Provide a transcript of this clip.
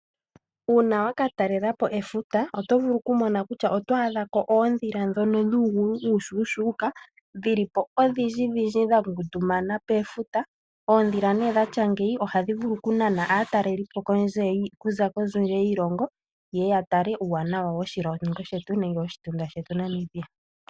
Uuna waka talelapo efuta, oto vulu okumona kutya oto adhako oondhila, ndhono dhuugulu uushushuuka, dhili po odhindjidhindji dha ngundumana pefuta. Oondhila dhatya ngeyi ohadhi vulu okunana aatalelipo okuza kondje yoshilongo, yeye yatale uuwanawa woshilongo shetu, nenge woshitunda shetu Namibia.